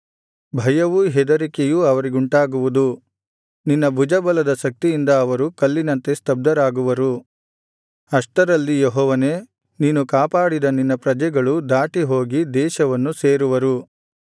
ಭಯವೂ ಹೆದರಿಕೆಯೂ ಅವರಿಗುಂಟಾಗುವುದು ನಿನ್ನ ಭುಜಬಲದ ಶಕ್ತಿಯಿಂದ ಅವರು ಕಲ್ಲಿನಂತೆ ಸ್ತಬ್ಧರಾಗುವರು ಅಷ್ಟರಲ್ಲಿ ಯೆಹೋವನೇ ನೀನು ಕಾಪಾಡಿದ ನಿನ್ನ ಪ್ರಜೆಗಳು ದಾಟಿ ಹೋಗಿ ದೇಶವನ್ನು ಸೇರುವರು